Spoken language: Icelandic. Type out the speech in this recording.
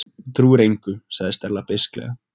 Þú trúir engu- sagði Stella beisklega.